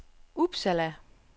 Uppsala